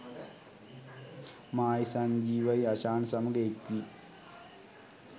මායිසංජීවයි අෂාන් සමග එක්‌වී